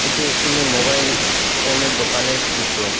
এটি একটি মোবাইল ফোনের দোকানের চিত্র।